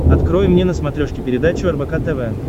открой мне на смотрешке передачу рбк тв